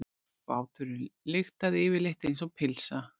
Báturinn lyktaði yfirleitt einsog pylsa.